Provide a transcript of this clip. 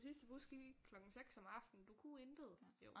Den sidste bus gik klokken 6 om aftenen du kunne intet